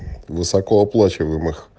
высокооплачиваемых